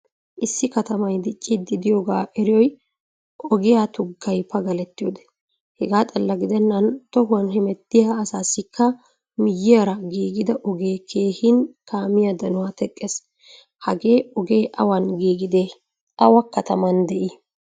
Issi katamay diccidi deiyoga eriyoy ogiya tuggay pagalettiyode. Hegaa xalla gidenan tohuwan hemetiya asaasikka miyiyaara giigida ogee keehin kaamiyaa danuwaa teqqees. Hagee ogee awan giigidee? awa kataman dei?